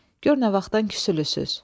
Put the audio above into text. Gör nə vaxtdan küsülüsüz.